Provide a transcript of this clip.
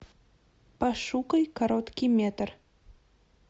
пошукай короткий метр